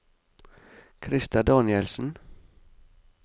Christer Danielsen